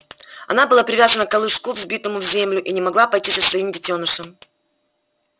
она была привязана к колышку вбитому в землю и не могла пойти за своим детёнышем